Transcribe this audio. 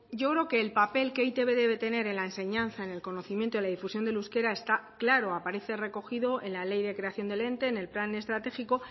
yo creo que el papel que eitb debe tener en la enseñanza en el conocimiento y en la difusión del euskera está claro aparece recogido en la ley de creación del ente en el plan estratégico